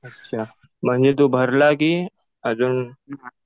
अच्छा. म्हणजे तु भरला कि अजून